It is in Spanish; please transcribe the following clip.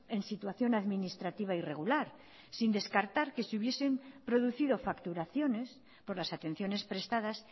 en situación administrativa irregular sin descartar que si hubiesen producido facturaciones por las atenciones prestadas